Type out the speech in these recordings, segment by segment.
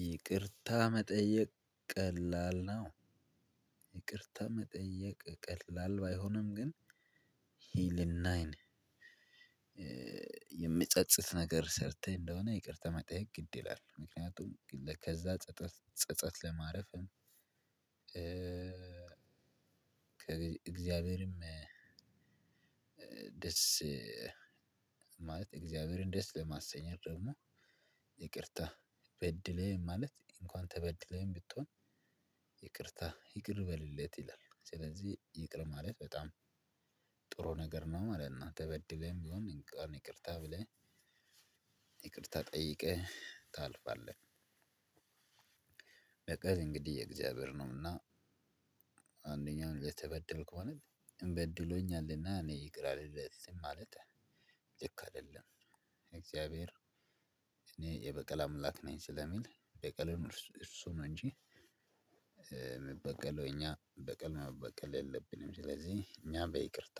ይቅርታ መጠየቅ ቀላል ነው። ይቅርታ መጠየቅ ቀላል ባይሆንም ግን ይሄ ልናይ ነው። የሚጸጽት ነገር ሰርተህ እንደሆነ ይቅርታ መጠየቅ ግድ ይላል ምክንያቱም ከዛ ጸጸት ጸጸት ለማረፍ። እግዚአብሔርም ደስ ማለት እግዚአብሔርን ደስ ለማሰኘት ደግሞ። ይቅርታ በድህ ማለት እንኳን ተበድለህም ብትሆን ይቅርታ ይቅር በልለት ይላል። ስለዚህ ይቅር ማለት በጣም ጥሩ ነገር ነው ማለት ነው። ተበድለህም ቢሆን ይቅርታ ብለህ ይቅርታ ጠይቀህ ታልፋለህ። በቀል እንግዲህ የእግዚአብሔር ነውና። አንደኛውን ለተበደልኩ ማለት እንበድሎኛለንና እኔ ይቅር አልለትም ማለት ልክ አይደለም። እግዚአብሔር እኔ የበቀል አምላክ ነኝ ስለሚል በቀልን እሱ ነው እንጂ የሚበቀለው እኛ በቀል መበቀል የለብንም። ስለዚህ እኛ በይቅርታ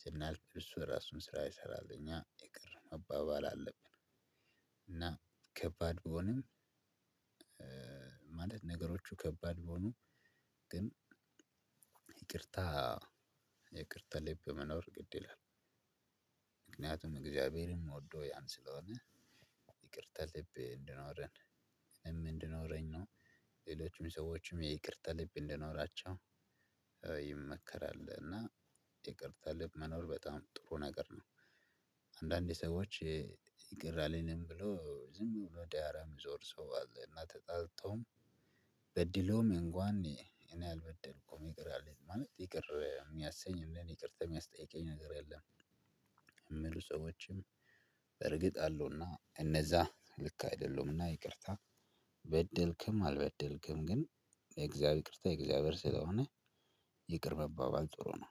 ስናልፍ እሱ የራሱን ስራ ይሰራል እኛ ይቅር መባባል አለብን። እና ከባድ ቢሆንም ማለት ነገሮቹ ከባድ ቢሆኑ ግን ይቅርታ የይቅርታ ልብ መኖር ግድ ይላል። ምክንያቱም እግዚአብሔርም ሚወደው ያን ስለሆነ ይቅርታ ልብ እንድኖረን እኔም እንዲኖረኝ ነው። ሌሎችም ሰዎችም የይቅርታ ልብ እንዲኖራቸው ይመከራል። እና ይቅርታ ልብ መኖር በጣም ጥሩ ነገር ነው። አንዳንዴ ሰዎች ይቅር አልልም ብሎ ዝም ብሎ ዳራ የሚዞር ሰው አለ እና ተጣልተውም በድሎም እንኳን እኔ አልበደልኩም ይቅር አልልም ማለት ይቅር የሚያሰኝ እንደኔ ይቅርታ የሚያስጠይቀኝ ነገር የለም። እሚሉ ሰዎችም እርግጥ አለውና እነዛ ልክ አይደለሁምና ይቅርታ በደልክም አልበደልክም ግን የእግዚአብሔር ይቅርታ የእግዚአብሔር ስለሆነ። ይቅር መባባል ጥሩ ነው።